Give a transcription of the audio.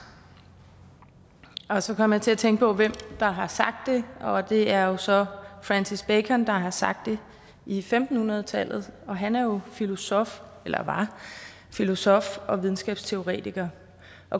så kom jeg til at tænke på hvem der har sagt det og det er så francis bacon der har sagt det i femten hundrede tallet han var jo filosof filosof og videnskabsteoretiker